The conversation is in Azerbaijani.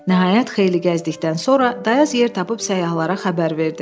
Nəhayət, xeyli gəzdikdən sonra dayaz yer tapıb səyyahlara xəbər verdi.